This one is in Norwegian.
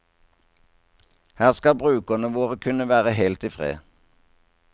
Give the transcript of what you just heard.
Her skal brukerne våre kunne være helt i fred.